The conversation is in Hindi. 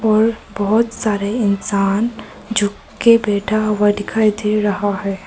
और बहुत सारे इंसान झुक के बैठा हुआ दिखाई दे रहा है।